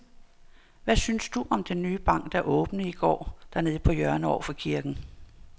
Hvad synes du om den nye bank, der åbnede i går dernede på hjørnet over for kirken?